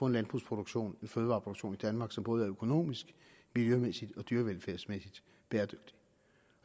en landbrugsproduktion en fødevareproduktion i danmark som både er økonomisk miljømæssigt og dyrevelfærdsmæssigt bæredygtig